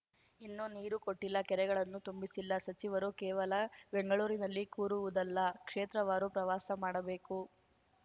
ಇನ್ನೂ ನೀರು ಕೊಟ್ಡಿಲ್ಲ ಕೆರೆಗಳನ್ನು ತುಂಬಿಸಿಲ್ಲ ಸಚಿವರು ಕೇವಲ ಬೆಂಗಳೂರಿನಲ್ಲಿ ಕೂರುವುದಲ್ಲ ಕ್ಷೇತ್ರವಾರು ಪ್ರವಾಸ ಮಾಡಬೇಕು